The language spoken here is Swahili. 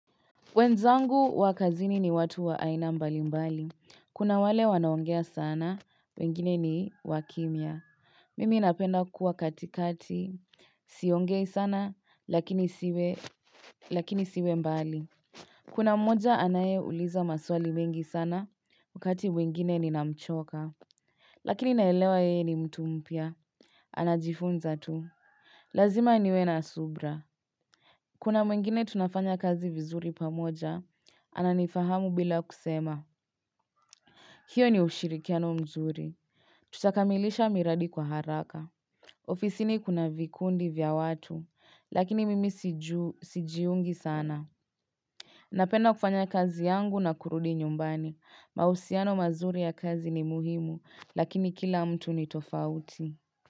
Wenzangu wa kazini ni watu wa aina mbali mbali. Kuna wale wanaongea sana, wengine ni wakimya. Mimi napenda kuwa katikati, siongei sana, lakini siwe mbali. Kuna mmoja anayeuliza maswali mengi sana, wakati mwingine ninamchoka. Lakini naelewa yeye ni mtu mpya. Anajifunza tu. Lazima niwe na subira. Kuna mwingine tunafanya kazi vizuri pamoja, ananifahamu bila kusema. Hiyo ni ushirikiano mzuri. Tutakamilisha miradi kwa haraka. Ofisini kuna vikundi vya watu, lakini mimi sijiungi sana. Napenda kufanya kazi yangu na kurudi nyumbani. Mahusiano mazuri ya kazi ni muhimu, lakini kila mtu ni tofauti.